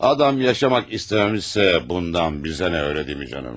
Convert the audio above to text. Adam yaşamaq istəməmişsə, bundan bizə nə, elə deyilmi, canım?